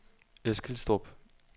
Eskilstrup